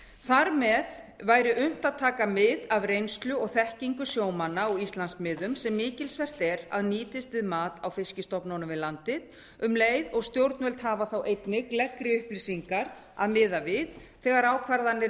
þar með væri unnt að taka mið af reynslu og þekkingu sjómanna á íslandsmiðum sem mikilsvert er að nýtist við mat á fiskstofnunum við landið um leið og stjórnvöld hafa þá einnig gleggri upplýsingar að miða við þegar ákvarðanir